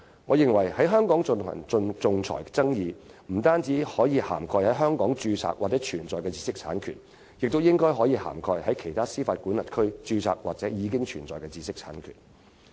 我認為，在香港進行仲裁的爭議不單可涵蓋在香港註冊或存在的知識產權，亦應可涵蓋在其他司法管轄區註冊或已存在的知識產權。